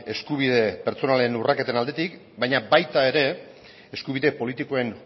eskubide pertsonalen urraketaren aldetik baina baita ere eskubide politikoen